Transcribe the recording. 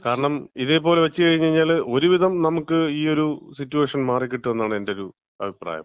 കാരണം ഇതേപോലെ വെച്ച് കഴിഞ്ഞ്കഴിഞ്ഞാല് ഒരുവിധം നമുക്ക് ഈ ഒരു സിറ്റുവേഷൻ മാറികിട്ടും എന്നാണ് എന്‍റൊരു അഭിപ്രായം.